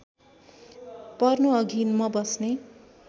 पर्नुअघि म बस्ने